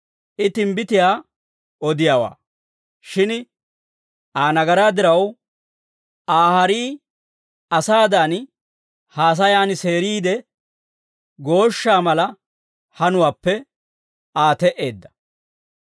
I timbbitiyaa odiyaawaa; shin Aa nagaraa diraw, Aa harii asaadan haasayan seeriide, gooshshaa mala hanuwaappe Aa te"eedda.